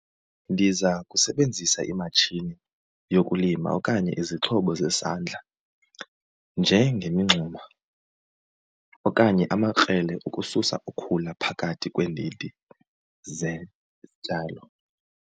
Ndiza kusebenzisa imatshini yokulima okanye izixhobo zesandla njengemingxuma okanye amakrelele ukususa ukhula phakathi kweendidi zezityalo.